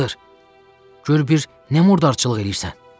Gör bir nə murdarçılıq eləyirsən,